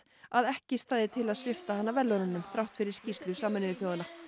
að ekki stæði til að svipta hana verðlaununum þrátt fyrir skýrslu Sameinuðu þjóðanna